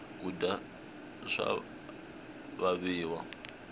kudya swa vaviwa